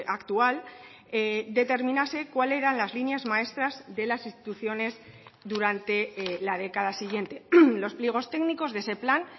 actual determinase cuál eran las líneas maestras de las instituciones durante la década siguiente los pliegos técnicos de ese plan